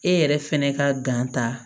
E yɛrɛ fɛnɛ ka ta